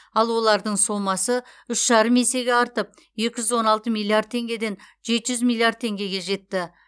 ал олардың сомасы үш жарым есеге артып екі жүз он алты миллиард теңгеден жеті жүз миллиард теңгеге жетті